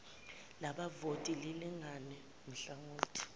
labavoti lilingane nhlangothi